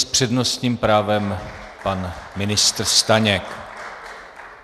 S přednostním právem pan ministr Staněk.